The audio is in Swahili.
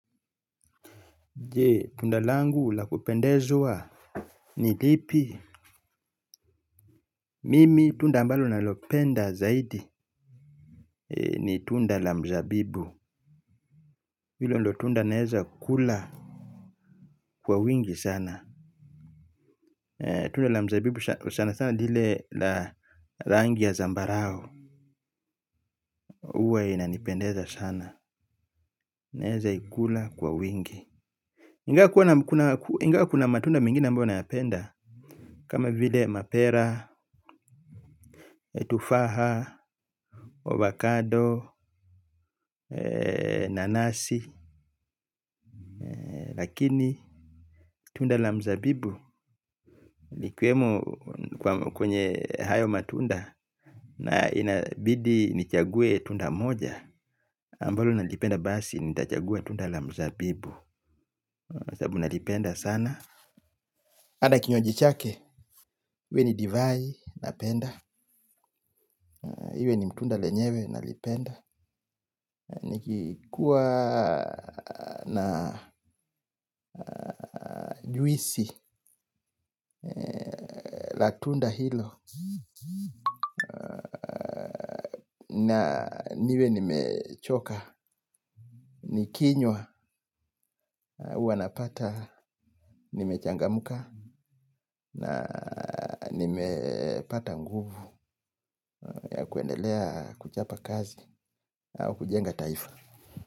Je tunda langu la kupendezwa ni lipi. Mimi tunda ambalo nalopenda zaidi. Ni tunda la mzabibu. Hilo ndio tunda naeza kula kwa wingi sana. Tunda la mzabibu sana sana ni ile la rangi ya zambarau huwa inanipendeza sana. Naeza ikula kwa wingi ingawa kuna matunda mengine ambayo nayapenda. Kama vile mapera, tufaha avocado Nanasi. Lakini tunda la mzabibu ikiwemo kwenye hayo matunda. Na inabidi nichaguwe tunda moja ambalo nalipenda basi. Nitachagua tunda la mzabibu sababu nalipenda sana. Hata kinywaji chake iwe ni divai napenda. Iwe ni mtunda lenyewe nalipenda. Nikikuwa na juisi la tunda hilo na niwe nimechoka nikinywa huanapata, nimechangamka na nimepata nguvu ya kuendelea kuchapa kazi au kujenga taifa.